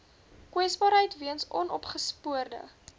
kwesbaarheid weens onopgespoorde